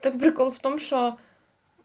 там прикол в том что